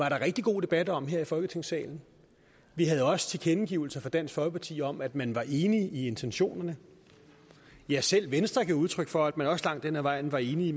en rigtig god debat om her i folketingssalen vi havde også tilkendegivelser fra dansk folkeparti om at man var enig i intentionerne ja selv venstre gav udtryk for at man også langt hen ad vejen var enig